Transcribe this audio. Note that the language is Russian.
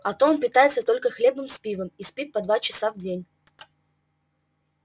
а то он питается только хлебом с пивом и спит по два часа в день